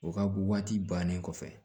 O ka waati bannen kɔfɛ